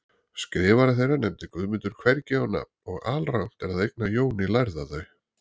Skrifara þeirra nefndi Guðmundur hvergi á nafn og alrangt er að eigna Jóni lærða þau.